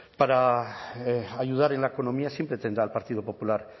para ayudar en la economía siempre tendrá al partido popular